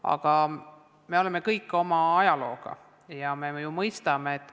Aga me oleme kõik seotud oma ajalooga ja seda me ju mõistame.